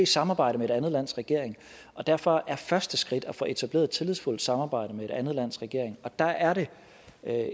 samarbejde med et andet lands regering og derfor er et første skridt at få etableret et tillidsfuldt samarbejde med et andet lands regering der er det